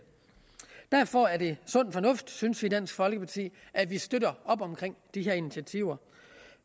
derfor er det sund fornuft synes vi i dansk folkeparti at vi støtter op omkring de her initiativer